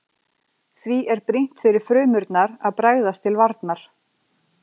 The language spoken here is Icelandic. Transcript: Því er brýnt fyrir frumurnar að bregðast til varnar.